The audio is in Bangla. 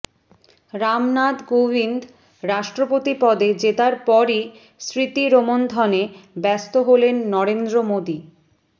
রামনাথ কোবিন্দ রাষ্ট্রপতি পদে জেতার পরই স্মৃতিরোমন্থনে ব্যস্ত হলেন নরেন্দ্র মোদী